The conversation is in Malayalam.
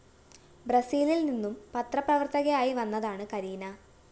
ബ്രസീലില്‍നിന്നും പത്രപ്രവര്‍ത്തകയായി വന്നതാണ് കരീന